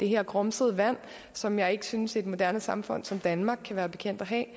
her grumsede vand som jeg ikke synes et moderne samfund som danmark kan være bekendt at